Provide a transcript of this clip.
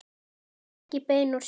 Ekki bein úr sjó.